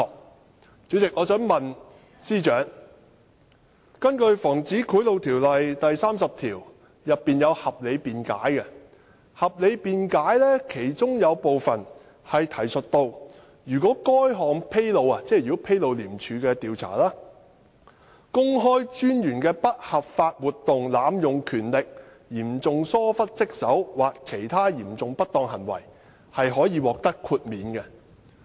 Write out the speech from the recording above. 代理主席，我想問司長，《防止賄賂條例》第30條訂有合理辯解，當中提述如果該項披露公開專員的不合法活動、濫用權力、嚴重疏忽職守或其他嚴重不當行為，可以獲得豁免。